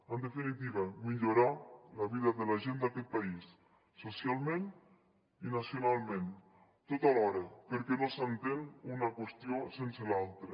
en definitiva millorar la vida de la gent d’aquest país socialment i nacionalment tot alhora perquè no s’entén una qüestió sense l’altra